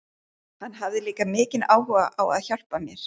Hann hafði líka mikinn áhuga á að hjálpa mér.